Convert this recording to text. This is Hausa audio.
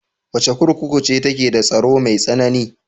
Wace kurkuku ce take da tsaro mai tsanani?